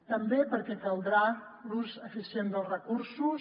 també perquè caldrà l’ús eficient dels recursos